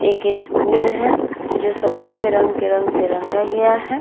एक स्कूल है जो सफ़ेद रंग के रंग से रंगा गया है।